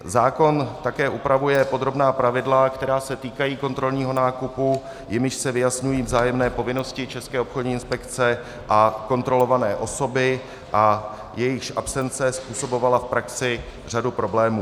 Zákon také upravuje podrobná pravidla, která se týkají kontrolního nákupu, jimiž se vyjasňují vzájemné povinnosti České obchodní inspekce a kontrolované osoby a jejichž absence způsobovala v praxi řadu problémů.